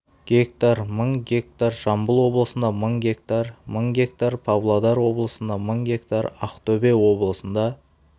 га мың га жамбыл облысында мың га мың га павлодар облысында мың га ақтөбе облысында